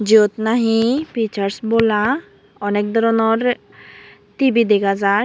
jiyot nhi pisarge bola onek doronor T_V dega jai.